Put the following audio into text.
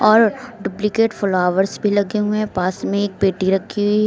और duplicate flowers भी लगे हुए हैं पास में एक पेटी रखी हुई--